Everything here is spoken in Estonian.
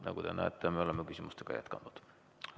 Nagu te näete, me oleme küsimustega jätkanud.